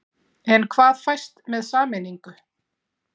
En hvað fæst með sameiningu?